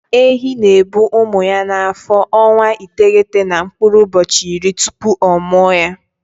Ehi na-ebu ụmụ ya n'afọ ọnwa iteghete na mkpụrụ ụbọchị iri tupu ọ mụa ha.